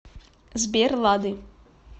сбер лады